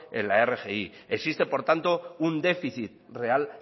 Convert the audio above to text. en la rgi existe por tanto un déficit real